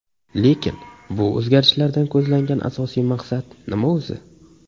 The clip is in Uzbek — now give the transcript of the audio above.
Lekin bu o‘zgarishlardan ko‘zlangan asosiy maqsad nima o‘zi?